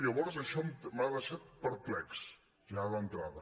llavors això m’ha deixat perplex ja d’entrada